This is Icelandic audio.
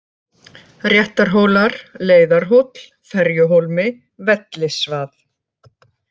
Réttarhólar, Leiðarhóll, Ferjuhólmi, Vellisvað